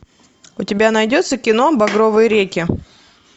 у тебя найдется кино багровые реки